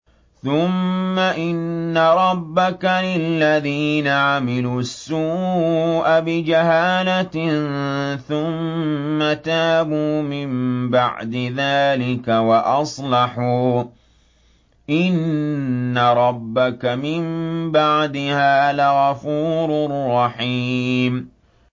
ثُمَّ إِنَّ رَبَّكَ لِلَّذِينَ عَمِلُوا السُّوءَ بِجَهَالَةٍ ثُمَّ تَابُوا مِن بَعْدِ ذَٰلِكَ وَأَصْلَحُوا إِنَّ رَبَّكَ مِن بَعْدِهَا لَغَفُورٌ رَّحِيمٌ